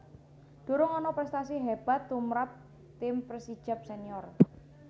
Durung ana prèstasi hébat tumrap tim Persijap Senior